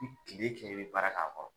I bi kile kɛ i bi baara k'a kɔrɔ